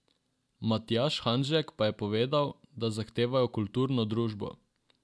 Matjaž Hanžek pa je povedal, da zahtevajo kulturno družbo.